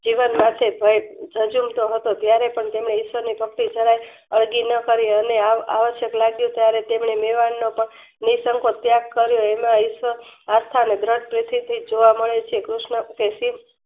જીવનમાંથી જ જજુલતો હતો ત્યારેપણ તેમને ઇશવની ભક્તેને અણગી ન કરી અને આ આવસ્ય્ક લાગ્યુંત્યારે તેમને મેવાડનાતો નિસર્ગ ત્યાગ કર્યો. એમાં ઇસ્વર આત્મા અને ગ્રન્થઉથી જોવા મળે છે. કૃષ્ણ પ્રશિધ